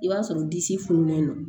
I b'a sɔrɔ disi fununen don